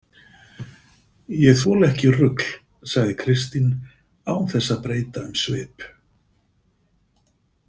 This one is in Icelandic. Ég þoli ekki rugl, sagði Kristín án þess að breyta um svip.